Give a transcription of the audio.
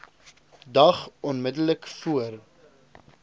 dag onmiddellik voor